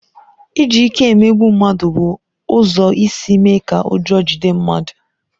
Iji ike emegbu mmadụ bụ ụzọ isi mee ka ụjọ jide mmadụ